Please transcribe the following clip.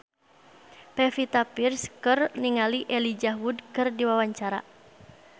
Pevita Pearce olohok ningali Elijah Wood keur diwawancara